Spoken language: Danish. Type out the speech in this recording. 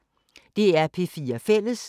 DR P4 Fælles